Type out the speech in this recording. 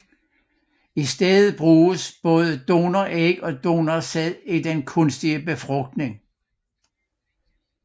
I stedet bruges både donoræg og donorsæd i den kunstige befrugtning